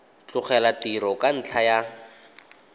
tlogela tiro ka ntlha ya